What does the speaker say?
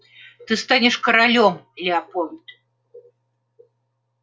ты станешь королём лепольд